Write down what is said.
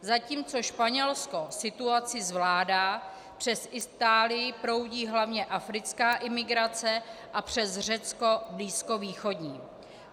Zatímco Španělsko situaci zvládá, přes Itálii proudí hlavně africká imigrace a přes Řecko blízkovýchodní.